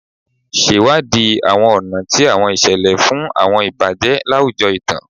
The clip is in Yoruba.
Ṣewadii àwọn ọ̀nà ti àwọn ìṣẹ̀lẹ̀ fún àwọn ìbàjẹ́ láwùjọ ìtàn.